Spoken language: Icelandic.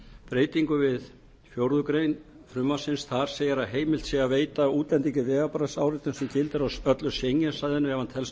breytingu við fjórðu grein frumvarpsins en þar segir heimilt er að veita útlendingi vegabréfsáritun sem gildir á öllu schengen svæðinu ef hann telst ekki